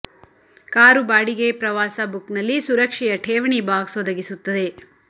car ಬಾಡಿಗೆ ಪ್ರವಾಸ book ನಲ್ಲಿ ಸುರಕ್ಷೆಯ ಠೇವಣಿ ಬಾಕ್ಸ್ ಒದಗಿಸುತ್ತದೆ